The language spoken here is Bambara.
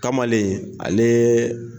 Kamalen aleee.